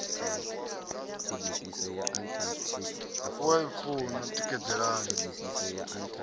u a i funa tikedzani